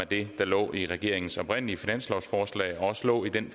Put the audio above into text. det der lå i regeringens oprindelige finanslovsforslag og også lå i den